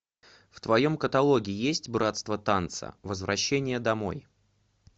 в твоем каталоге есть братство танца возвращение домой